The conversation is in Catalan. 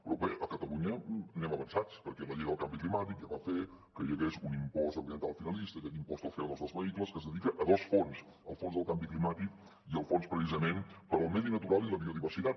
però bé a catalunya anem avançats perquè la llei del canvi climàtic ja va fer que hi hagués un impost ambiental finalista aquest impost del cocanvi climàtic i al fons precisament per al medi natural i la biodiversitat